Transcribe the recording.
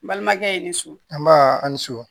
N balimakɛ i ni so an ba a ni so